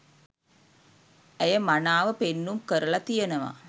ඇය මනාව පෙන්නුම් කරලා තියෙනවා